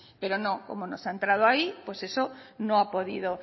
pero no como no se ha entrado a ahí pues eso no ha podido